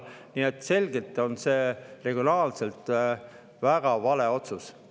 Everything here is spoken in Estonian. Nii et see on regionaalselt selgelt väga vale otsus.